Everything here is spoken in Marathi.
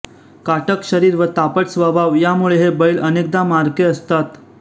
काटक शरीर व तापट स्वभाव यामुळे हे बैल अनेकदा मारके असतात